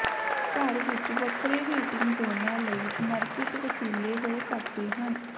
ਘਰ ਵਿੱਚ ਵੱਖਰੇ ਹੀਟਿੰਗ ਜ਼ੋਨਾਂ ਲਈ ਸਮਰਪਿਤ ਵਸੀਲੇ ਹੋ ਸਕਦੇ ਹਨ